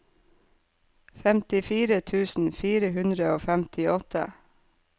femtifire tusen fire hundre og femtiåtte